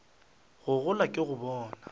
go gola ke go bona